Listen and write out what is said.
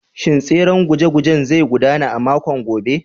Shin tseren guje-gujen zai gudana a makon gobe?